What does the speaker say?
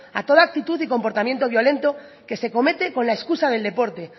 a toda actitud y comportamiento violento que se comete con la excusa del deporte